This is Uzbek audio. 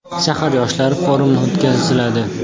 Shahar yoshlari forumi o‘tkaziladi.